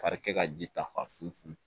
Karikɛ ka ji ta fa fin